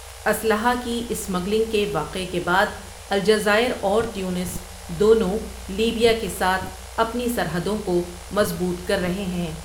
اسلحہ کی اسمگلنگ کے واقعے کے بعد الجزائر اور تیونس دونوں لیبیا کے ساتھ اپنی سرحدوں کو مضبوط کر رہے ہیں۔